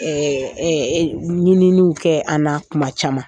ɲininiw kɛ an na kuma caman.